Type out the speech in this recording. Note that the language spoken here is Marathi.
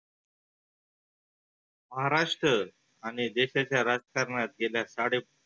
महाराष्ट्र आणि जे त्याच्या राजकारणात गेल्या साडे